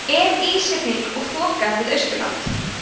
er ísrigning og þoka við austurland